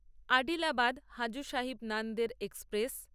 Adilabad Hazur Sahib Nanded express